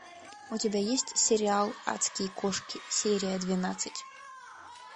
у тебя есть сериал адские кошки серия двенадцать